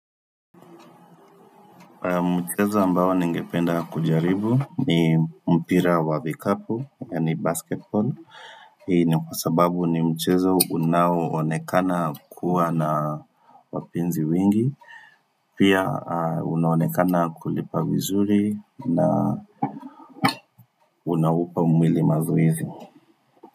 Mchezo ambao nengependa kujaribu ni mpira wa vikapu yani basketball Hii ni kwasababu ni mchezo unawonekana kuwa na wapinzi wingi Pia unaonekana kulipa vizuri na Unaupa umwili mazoizi.